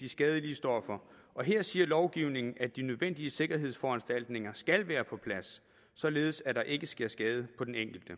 de skadelige stoffer og her siger lovgivningen at de nødvendige sikkerhedsforanstaltninger skal være på plads således at der ikke sker skade på den enkelte